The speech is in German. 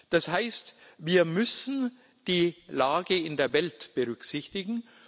Das heißt, wir müssen die Lage in der Welt berücksichtigen.